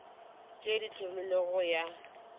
tše di hlomilwego go ya